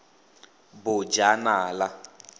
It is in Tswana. bojanala